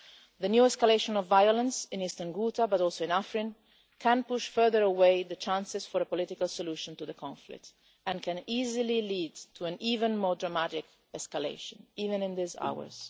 The new escalation of violence in eastern Ghouta, but also in Afrin, can push further away the chances for a political solution to the conflict and can easily lead to an even more dramatic escalation, even in these hours.